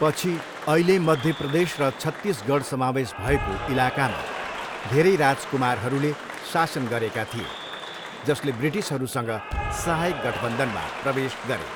पछि, अहिले मध्य प्रदेश र छत्तीसगढ समावेश भएको इलाकामा धेरै राजकुमारहरूले शासन गरेका थिए जसले ब्रिटिसहरूसँग सहायक गठबन्धनमा प्रवेश गरे।